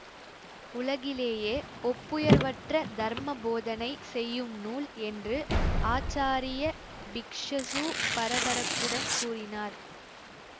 உலகிலேயே ஒப்புயர்வற்ற தர்ம போதனை செய்யும் நூல் என்று ஆச்சாரிய பிக்ஷசசூ பரபரப்புடன் கூறினார்